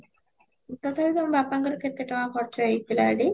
ତଥାପି ତମୋ ବାପାଙ୍କର କେତେ ଟଙ୍କା ଖର୍ଚ୍ଚ ହେଇଥିଲା ସେଠି